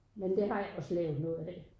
Men det har jeg også lavet noget af